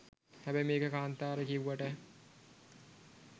හැබැයි මේක කාන්තාරේ කිව්වට